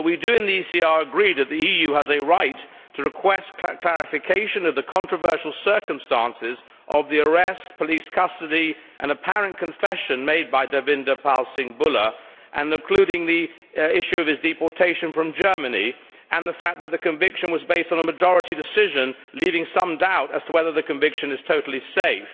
We in the ECR agree that the EU has a right to request clarification of the controversial circumstances of the arrest, police custody and apparent confession made by Davinder Pal Singh Bhullar, including the issue of his deportation from Germany and the fact the conviction was based on a majority decision, leaving some doubt as to whether the conviction is totally safe.